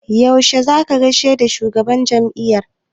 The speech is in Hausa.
Yaushe za ka gaishe da shugaban jam'iyya?